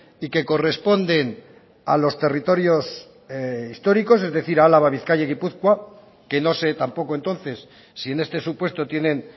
y que corresponden a los territorios históricos es decir álava bizkaia y gipuzkoa que no sé tampoco entonces si en este supuesto tienen